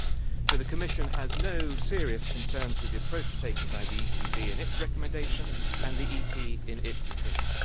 So the Commission has no serious concerns with the approach taken by the ECB in its recommendation and by Parliament in its opinion.